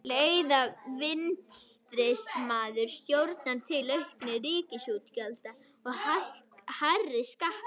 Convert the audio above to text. Leiða vinstrisinnaðar stjórnir til aukinna ríkisútgjalda og hærri skatta?